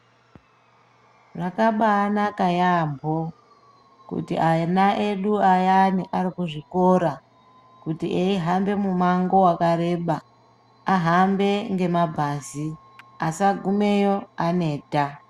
Zvakabaanaka yaambo kuti ana edu ayani ari muzvikora kuti eihamba mumango wakareba ahambe ngemabhazi asagumeyo aneta .